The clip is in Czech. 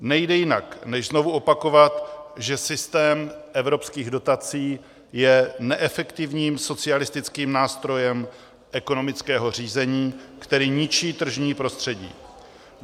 Nejde jinak, než znovu opakovat, že systém evropských dotací je neefektivním socialistickým nástrojem ekonomického řízení, který ničí tržní prostředí.